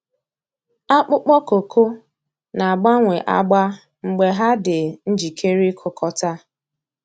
Akpụkpọ kooko na-agbanwe agba mgbe ha dị njikere ịkụkọta.